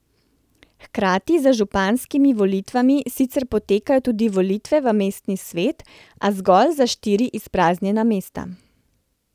Hkrati z županskimi volitvami sicer potekajo tudi volitve v mestni svet, a zgolj za štiri izpraznjena mesta.